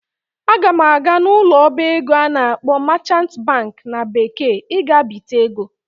Aga m aga n'ụlọ ọba ego a na-akpọ "merchant bank" na bekee iga bite ego